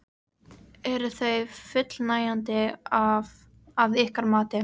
Eru þau fullnægjandi að ykkar mati?